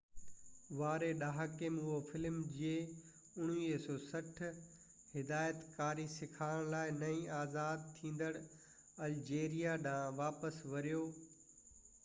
1960 واري ڏهاڪي ۾ هو فلم جي هدايت ڪاري سيکارڻ لاءِ نئين آزاد ٿيندڙ الجيريا ڏانهن واپس وريو